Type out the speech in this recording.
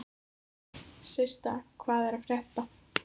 Systa, hvað er að frétta?